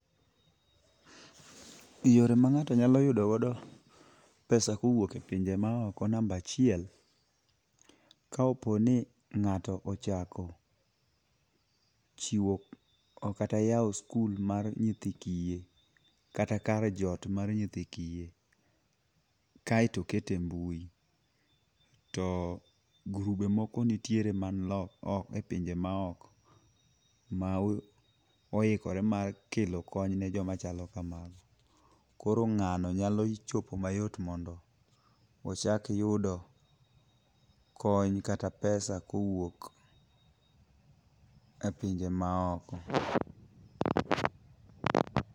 Yore ma ngato nyalo yudo godo pesa kowuok e pinje maoko namba achiel. Ka opo ni ng'ato ochako chiwo ok kata yawo sikul mar nyithi kiye kata kar jot mar nyithi kiye kaeto okete embui to grube moko nitiere man loka man oko e pinje maoko ma oikore mar kelo kony ne joma chalokamago. Koro ng'ano nyalo chopo mayot mondo ochalk yudo kony kata pesa kowuok e pinje maoko.